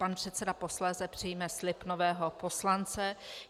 Pan předseda posléze přijme slib nového poslance.